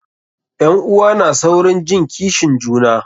Ƴan'uwa na saurin jin kishin juna.